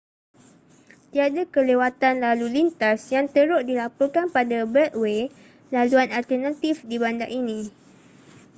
tiada kelewatan lalu lintas yang teruk dilaporkan pada beltway laluan alternatif di bandar ini